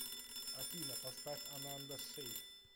афина поставь ананда шэйк